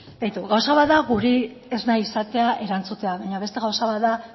beitu gauza bat da guri ez nahi izatea erantzutea baina beste gauza bat da